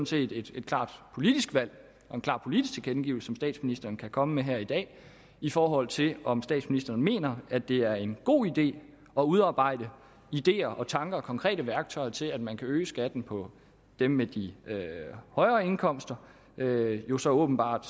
set et klart politisk valg og en klar politisk tilkendegivelse som statsministeren kan komme med her i dag i forhold til om statsministeren mener at det er en god idé at udarbejde ideer tanker og konkrete værktøjer til at man kan øge skatten på dem med de højere indkomster hvilket jo så åbenbart